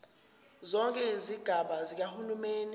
zonke izigaba zikahulumeni